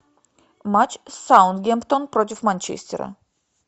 матч саутгемптон против манчестера